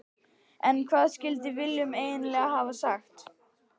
En hvað skildi Willum eiginlega hafa sagt?